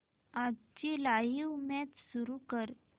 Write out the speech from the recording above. आजची live match सुरू कर